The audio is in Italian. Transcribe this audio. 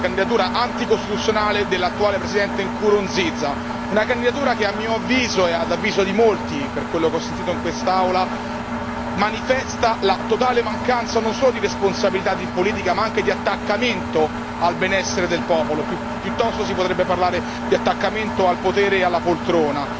2000. La candidatura anticostituzionale dell'attuale Presidente Nkurunziza a mio avviso, e ad avviso di molti per quello che ho sentito in quest'Aula, manifesta la totale mancanza non solo di responsabilità politica, ma anche di attaccamento al benessere del popolo, piuttosto si potrebbe parlare di attaccamento al potere e alla poltrona.